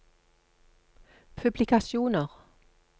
publikasjoner